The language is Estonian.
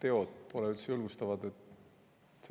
–, teod pole üldse julgustavad.